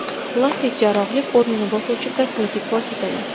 Plastik jarrohlik o‘rnini bosuvchi kosmetik vositalar.